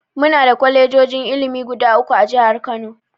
Muna da kwalejojin ilimi guda uku a jihar Kano.